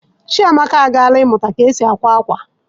Chiamaka agaala ịmụta ka e si akwa akwa